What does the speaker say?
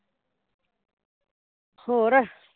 ਹੋਰ